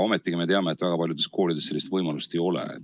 Ometigi me teame, et väga paljudes koolides sellist võimalust ei ole.